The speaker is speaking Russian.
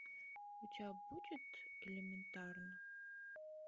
у тебя будет элементарно